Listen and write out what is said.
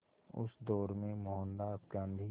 उस दौर में मोहनदास गांधी